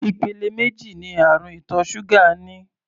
Ìpele méjì ní àrùn ìtọ̀ ṣúgà ní.